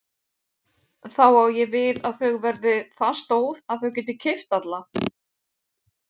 Þá á ég við að þau verða það stór að þau geti keypt alla?